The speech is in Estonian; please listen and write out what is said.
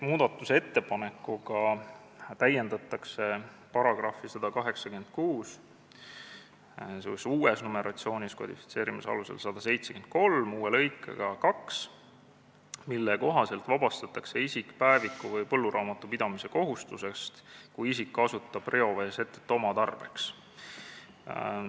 Muudatusettepanekuga täiendatakse § 186 uue lõikega 2, mille kohaselt vabastatakse isik päeviku või põlluraamatu pidamise kohustusest, kui isik kasutab reoveesetet oma tarbeks.